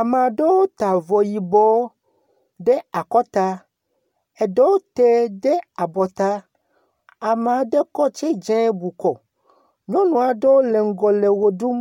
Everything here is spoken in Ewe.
Ame aɖewo ta avɔ yibɔ ɖe akɔta, eɖewo te ɖe abɔta, ame aɖe kɔ tsidzɛ bu kɔ. Nyɔnu aɖewo le ŋgɔ le ʋe ɖum.